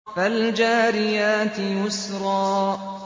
فَالْجَارِيَاتِ يُسْرًا